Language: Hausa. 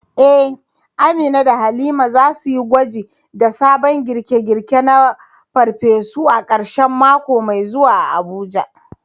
Eh, Amina da Halima za su yi gwaji da sabon girke-girke na farfesu a karshen mako mai zuwa a Abuja.